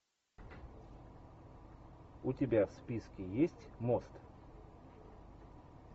у тебя в списке есть мост